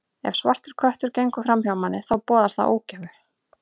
Ef svartur köttur gengur fram hjá manni, þá boðar það ógæfu.